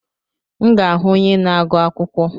M ga-ahụ onye na-agụ akwụkwọ.